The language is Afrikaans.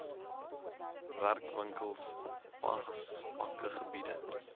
werkwinkels wasvakke gebiede